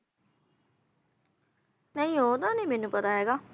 ਨਹੀਂ ਓਹਦਾ ਨਹੀਂ ਮੈਨੂੰ ਪਤਾ ਹੈਗਾ